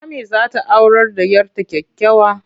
Ammi za ta aurar da 'yar ta kyakkyawa.